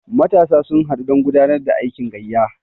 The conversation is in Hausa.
matasa sun haɗu don gudanar da aikin gayya